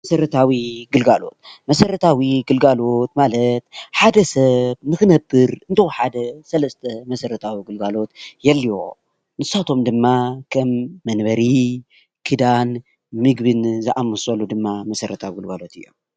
መሰራታዊ ግልጋሎት፡- መሰረታዊ ግልጋሎት ማለት ሓደ ሰብ ንክነብር እንተወሓደ ሰለስተ መሰረታዊ ግልጋሎት የድልይዎ፡፡ ንሳቶም ድማ ከም መንበሪ፣ ክዳን፣ ምግብን ዝኣምሰሉ ድማ መሰረተዊ ግልጋሎት እዮም፡፡